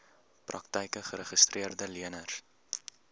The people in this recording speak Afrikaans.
praktyke geregistreede leners